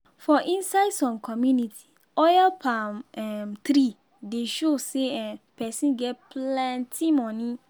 for inside som communities oil palm um tree dey show say um person get plenti money.